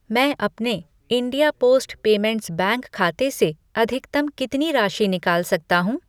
मैं अपने India post payments bank खाते से अधिकतम कितनी राशि निकाल सकता हूँ?